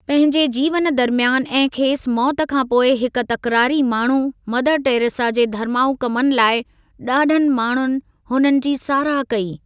पंहिंजे जीवन दरमियान ऐं खेसि मौति खां पोइ हिक तकरारी माण्हू, मदर टेरेसा जे धर्माउ कमनि लाइ ॾाढनि माण्हुनि हुननि जी साराह कई।